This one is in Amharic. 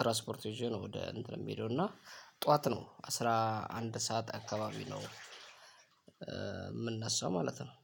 ትራስፖርት ይዤ ነው ወደ እንትን የሚሄደው እና ጠዋት ነው አስራ አንድ ሰዓት አካባቢ ነው የምነሳው ማለት ነው።